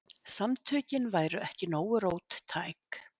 Samtökin væru ekki nógu róttæk.